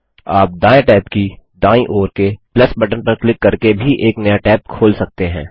आप दायें टैब की दायीं ओर के बटन पर क्लिक करके एक नया टैब भी खोल सकते हैं